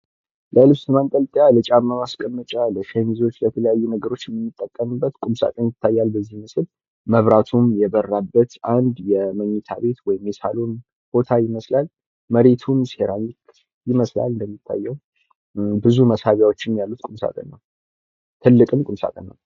ለልብስ ማንጠልጠያ ፣ለጫማ ማስቀመጫ፣ ለሸሚዞች ለተለያዩ ነገሮች እምንጠቀምበት ቁም ሳጥን ይታያል በዚህ ምስል። መብራቱም የበራበት አንድ የምኝታ ቤት ወይም የሳሎን ቦታ ይመስላል መሬቱም ሴራሚክ ይመስላል እንደሚታየዉ ብዙ መሳቢያዎችም ያሉት ቁም ሳጥን ነዉ። ትልቅም ቁም ሳጥን ነዉ።